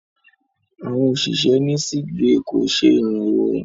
Àwọn òṣìṣẹ́ ní sickbay kò ṣe ìrànwọ́.